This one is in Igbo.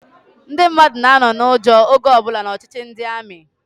Ndị mmadụ na-anọ n'ụjọ oge ọbụla n'ọchịchị ndị amị.